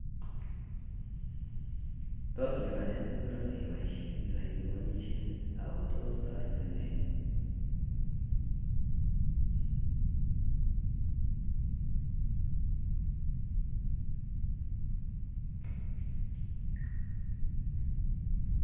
Tos lipanet ingoro nee ibaishe kilai ilipanishe ako tos taretin nee